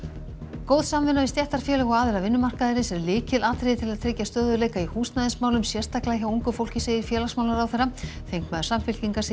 góð samvinna við stéttarfélög og aðila vinnumarkaðarins er lykilatriði til að tryggja stöðugleika í húsnæðismálum sérstaklega hjá ungu fólki segir félagsmálaráðherra þingmaður Samfylkingar segir